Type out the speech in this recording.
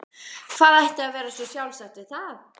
Hvað ætti að vera svo sjálfsagt við það?